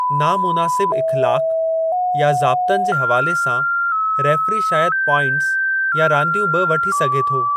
ना मुनासिब इख़्लाक़ या ज़ाब्तनि जे हवाले सां रेफ़री शायदि प्वाइंटस या रांदियूं बि वठी सघे थो।